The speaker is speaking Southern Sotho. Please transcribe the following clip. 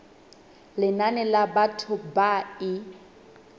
lenane la batho ba e